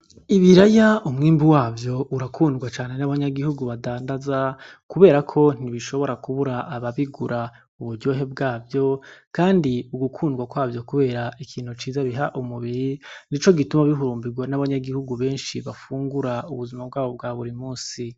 Ibiraya umwimbu wavyo urakundwa cane n'abanyagihugu badandaza kubera ko ntibishobora kubura abababigura, uburyohe bwavyo kadi ugukundwa kwavyo kubera ikintu ciza biha umubiri nico gituma bihumbirwa n'abanyagihugu benshi bafungura ubuzima bwabo bwa buri munsi.